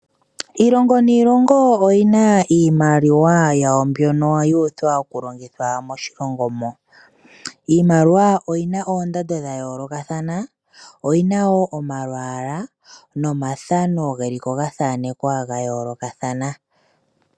Iilongo niilongo oyina iimaliwa yawo mbono yuuthwa okulongithwa moshilongo mo